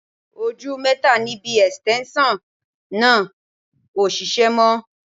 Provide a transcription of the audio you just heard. Ojú mẹ́ta níbi ẹ̀sìtẹ́ńṣọ̀ náà ò ṣiṣẹ́ mọ́